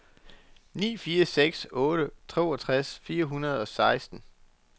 ni fire seks otte toogtres fire hundrede og seksten